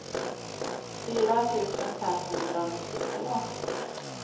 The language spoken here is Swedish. fyra tusen femhundranittiotvå